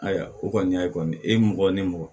Ayiwa o kɔni y'a ye kɔni e ye mɔgɔ ni mɔgɔ